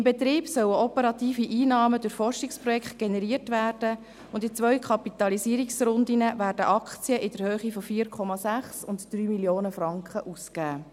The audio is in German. Im Betrieb sollen operative Einnahmen durch Forschungsprojekte generiert werden und in zwei Kapitalisierungsrunden werden Aktien in der Höhe von 4,6 Mio. und 3 Mio. Franken ausgegeben.